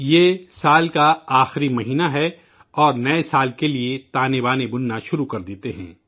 یہ سال کا آخری مہینہ ہے اور نئے سال کے لیے تانے بانے بننا شروع کر دیتے ہیں